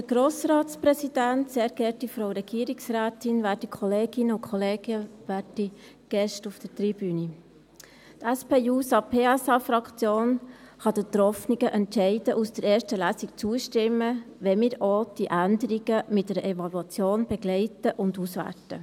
Die SP-JUSO-PSA-Fraktion kann den getroffenen Entscheiden aus der ersten Lesung zustimmen, wenn wir auch die Änderungen mit einer Evaluation begleiten und auswerten.